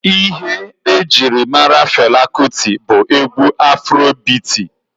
Ihe ejiri mara Fela Kuti bụ egwu afro biiti.